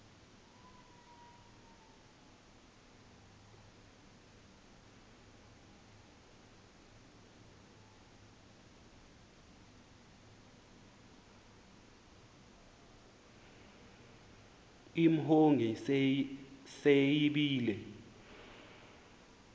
imhongi se yibile